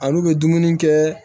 Al'u bɛ dumuni kɛ